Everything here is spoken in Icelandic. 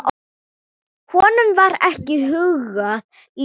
Honum var ekki hugað líf.